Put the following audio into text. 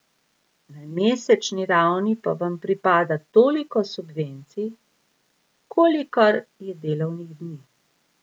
Na mesečni ravni pa vam pripada toliko subvencij, kolikor je delovnih dni.